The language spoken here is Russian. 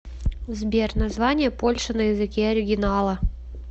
сбер название польша на языке оригинала